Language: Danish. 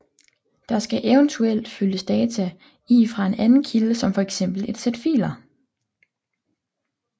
Der skal eventuelt fyldes data i fra en anden kilde som for eksempel et sæt filer